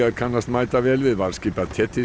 kannast mætavel við varðskip af